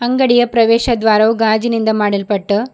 ಅಂಗಡಿಯ ಪ್ರವೇಶ ದ್ವಾರವು ಗಾಜಿನಿಂದ ಮಾಡಲ್ಪಟ್ಟ--